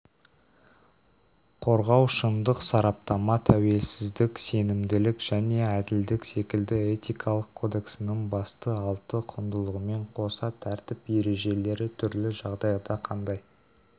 қорғау шындық сараптама тәуелсіздік сенімділік және әділдік секілді этикалық кодексінің басты алты құндылығымен қоса тәртіп ережелерітүрлі жағдайда қандай